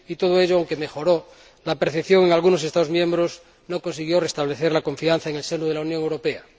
Y todo ello, aunque mejoró la percepción de algunos Estados miembros, no consiguió restablecer la confianza en el seno de la Unión Europea.